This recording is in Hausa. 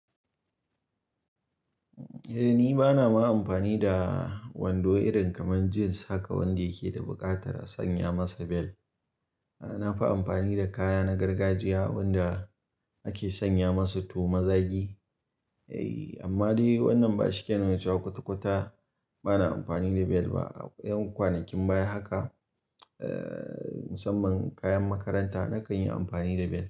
Eh, ni bana ma amfani da wando irin kamar jins haka wanda yake da buƙatar a sanya masa bel. Na fi amfani da kaya na gargajiya wanda ake sanya masu tu ma zagi. Eh, amma dai wannan ba shi ke nan ya ci kwata-kwata. Bana amfani da bel ba. A yan kwanakin baya haka, eh, musamman kayan makaranta na kan yi amfani da bel.